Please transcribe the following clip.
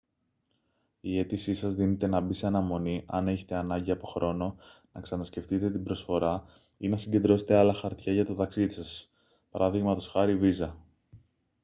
η αίτησή σας δύναται να μπει σε αναμονή άν έχετε ανάγκη από χρόνο να ξανασκεφτείτε την προσφορά ή να συγκεντρώσετε άλλα χαρτιά για το ταξίδι σας π.χ. βίζα